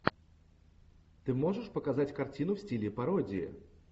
ты можешь показать картину в стиле пародии